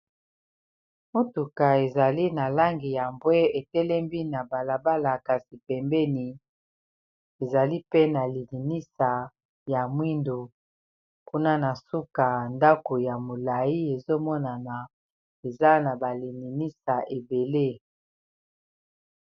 Motuka ezali na langi ya mbwe etelembi pembeni ya balabala monene, liboso na ngo eza mutuka mususu eza koleka.